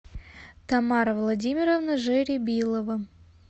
тамара владимировна жеребилова